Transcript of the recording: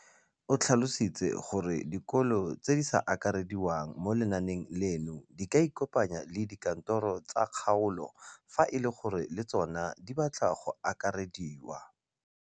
O tlhalositse gore dikolo tse di sa akarediwang mo lenaaneng leno di ikopanye le dikantoro tsa kgaolo fa e le gore le tsona di batla go akarediwa.